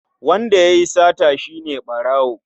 Wanda ya yi sata shi ne ɓarawo.